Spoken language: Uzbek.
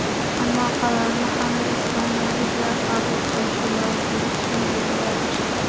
Ammo qarorni hamma ispaniyaliklar qabul qilishi lozim”, tushuntirdi vazir.